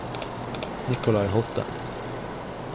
Nikolai Holte